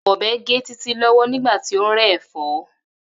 Ò̩be̩ gé Títí ló̩wó̩ nígbà tí ó ń ré̩ è̩fó̩